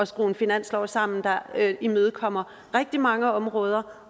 skrue en finanslov sammen der imødekommer rigtig mange områder